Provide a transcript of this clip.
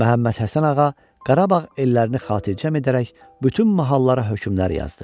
Məhəmməd Həsən ağa Qarabağ ellərini xatircəm edərək bütün mahallara hökmlər yazdı.